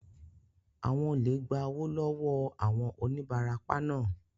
Àwọn olè gba owó lọ wọọ àwọn onibarapa naa